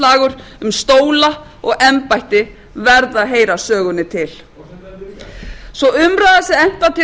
smákóngaslagur um stóla og embætti verða að heyra sögunni til sú umræða sem efnt var til á